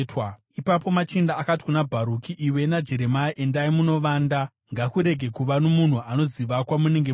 Ipapo machinda akati kuna Bharuki, “Iwe naJeremia endai munovanda. Ngakurege kuva nomunhu anoziva kwamunenge muri.”